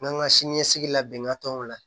N'an ka siniɲɛsigi labɛn ka t'o la